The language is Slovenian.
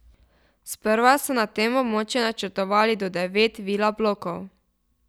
Sprva so na tem območju načrtovali do devet vila blokov.